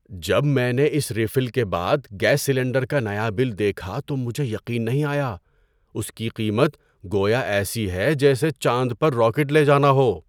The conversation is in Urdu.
جب میں نے اس ریفل کے بعد گیس سلنڈر کا نیا بل دیکھا تو مجھے یقین نہیں آیا۔ اس کی قیمت گویا ایسی ہے جیسے چاند پر راکٹ لے جانا ہو!